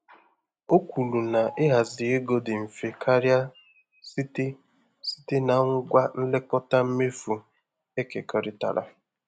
O kwuru na ịhazi ego dị mfe karịa site site na ngwa nlekọta mmefu ekekọrịtara.